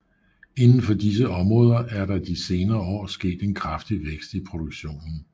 Inden for disse områder er der de senere år sket en kraftig vækst i produktionen